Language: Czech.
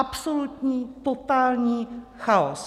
Absolutní, totální chaos.